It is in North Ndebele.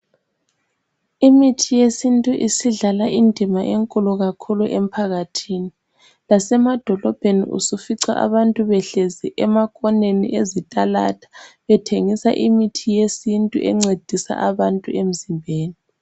Imithi yesintu isidlala indima enkulu kakhulu emphakathini. Lasemadolobheni usufica abantu behlezi emakhoneni ezitalada bethengisa imithi yesintu encedisa abantu emzimbeni.